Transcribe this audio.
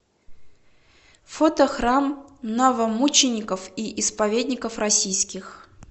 фото храм новомучеников и исповедников российских